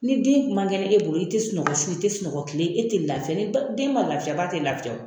Ni den man kɛnɛ e bolo i te sunɔgɔ su i te sunɔgɔ kile e te lafɛ ni ba den ma lafiya ba te lafiya o